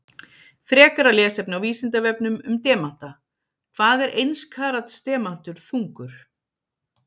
Frekara lesefni á Vísindavefnum um demanta: Hvað er eins karats demantur þungur?